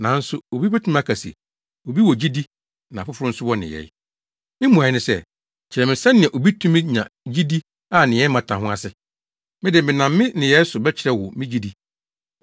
Nanso obi betumi aka se, “Obi wɔ gyidi na afoforo nso wɔ nneyɛe.” Me mmuae ne sɛ, “Kyerɛ me sɛnea obi tumi nya gyidi a nneyɛe mmata ho ase. Me de, menam me nneyɛe so bɛkyerɛ wo me gyidi.”